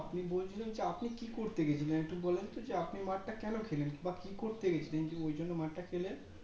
আপনি বলছিলাম আপনি কি করতে গেছিলেন একটু বলেন তো যে আপনি মারটা কেন খেলেন বা কি করতে গেছিলেন যে ঐজন্য মারটা খেলেন